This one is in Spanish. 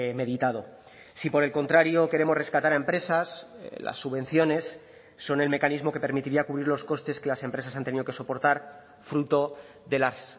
meditado si por el contrario queremos rescatar a empresas las subvenciones son el mecanismo que permitiría cubrir los costes que las empresas han tenido que soportar fruto de las